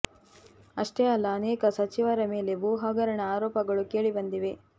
ಅಷ್ಟೇ ಅಲ್ಲ ಅನೇಕ ಸಚಿವರ ಮೇಲೆ ಭೂ ಹಗರಣ ಆರೋಪಗಳು ಕೇಳಿ ಬಂದಿವೆ